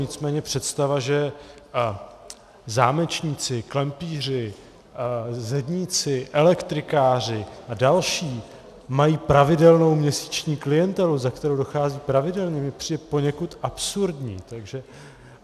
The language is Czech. Nicméně představa, že zámečníci, klempíři, zedníci, elektrikáři a další mají pravidelnou měsíční klientelu, za kterou docházejí pravidelně, mi přijde poněkud absurdní.